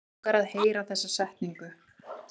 Langar að heyra þessa setningu.